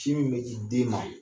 Sin min bɛ di den ma